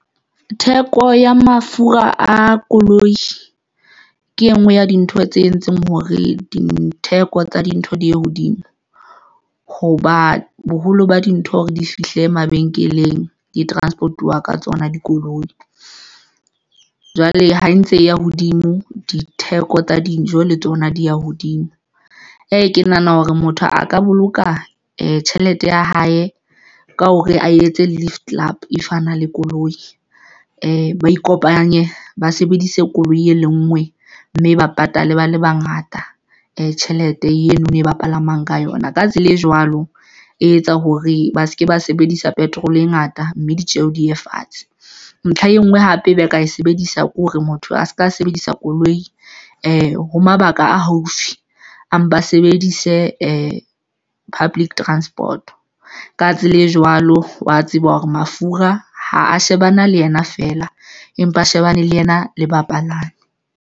Theko ya mafura a koloi ke enngwe ya dintho tse entseng hore ditheko tsa dintho di ye hodimo hoba boholo ba dintho hore di fihle mabenkeleng di-transport-iwa ka tsona dikoloi, jwale ha e ntse e ya hodimo ditheko tsa dijo le tsona di ya hodimo. Ee, ke nahana hore motho a ka boloka tjhelete ya hae ka hore a etse Lift Club if ana le koloi . Ba ikopanye ba sebedise koloi e le ngwe mme ba patale ba le bangata e tjhelete eno no e ba palamang ka yona. Ka tsela e jwalo, e etsa hore ba seke ba sebedisa petrol e ngata mme ditjeho di ye fatshe. Ntlha e nngwe hape ba ka e sebedisa ke hore motho a se ka sebedisa koloi ho mabaka a haufi empa sebedise public transport ka tsela e jwalo, wa tseba hore mafura ha a shebana le yena feela, empa a shebane le ena le bapalami.